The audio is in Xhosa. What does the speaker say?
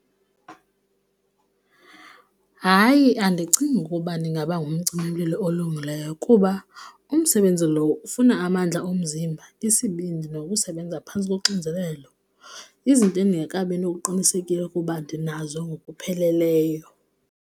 Hayi, andicingi ukuba ndingaba ngumcimimlilo olungileyo kuba umsebenzi loo ufuna amandla omzimba, isibindi nokusebenza phantsi koxinzelelo, izinto endingekabi nokuqinisekile ukuba ndinazo ngokupheleleyo.